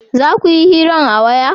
za kuyi hiran a waya?